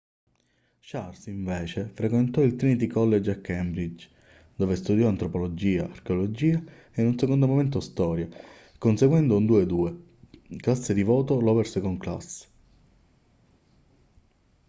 charles invece frequentò il trinity college a cambridge dove studiò antropologia archeologia e in un secondo momento storia conseguendo un 2:2 classe di voto lower second class"